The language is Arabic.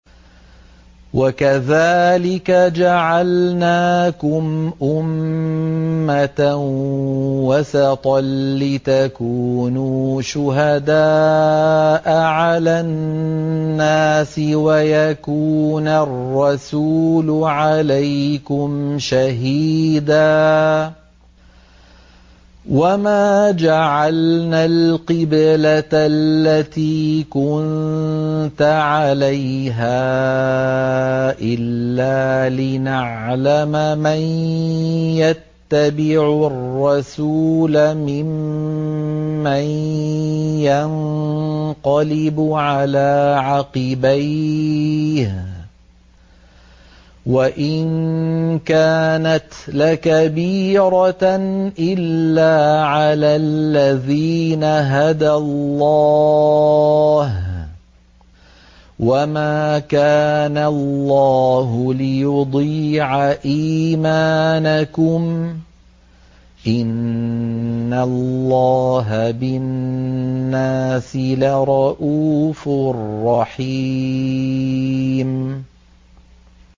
وَكَذَٰلِكَ جَعَلْنَاكُمْ أُمَّةً وَسَطًا لِّتَكُونُوا شُهَدَاءَ عَلَى النَّاسِ وَيَكُونَ الرَّسُولُ عَلَيْكُمْ شَهِيدًا ۗ وَمَا جَعَلْنَا الْقِبْلَةَ الَّتِي كُنتَ عَلَيْهَا إِلَّا لِنَعْلَمَ مَن يَتَّبِعُ الرَّسُولَ مِمَّن يَنقَلِبُ عَلَىٰ عَقِبَيْهِ ۚ وَإِن كَانَتْ لَكَبِيرَةً إِلَّا عَلَى الَّذِينَ هَدَى اللَّهُ ۗ وَمَا كَانَ اللَّهُ لِيُضِيعَ إِيمَانَكُمْ ۚ إِنَّ اللَّهَ بِالنَّاسِ لَرَءُوفٌ رَّحِيمٌ